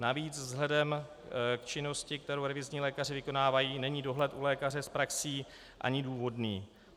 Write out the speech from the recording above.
Navíc vzhledem k činnosti, kterou revizní lékaři vykonávají, není dohled u lékaře s praxí ani důvodný.